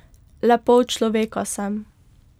Le pol človeka sem.